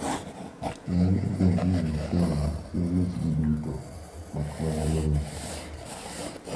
Ng`eny ogendni ma Kenya chiwo michgo duto makmana lewni.